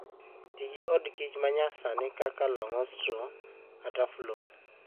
Ti gi od kich ma nyasani kaka Langstroth kata Flow.